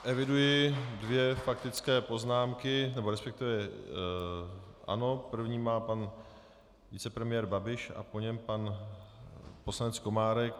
Eviduji dvě faktické poznámky, nebo respektive ano, první má pan vicepremiér Babiš a po něm pan poslanec Komárek.